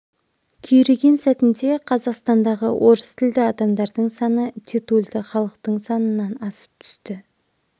күйреген сәтінде қазақстандағы орыс тілді адамдардың саны титульды халықтың санынан асып түсті